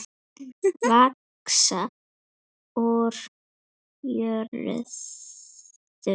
Vaxa úr jörðu.